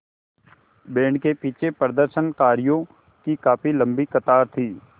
band के पीछे प्रदर्शनकारियों की काफ़ी लम्बी कतार थी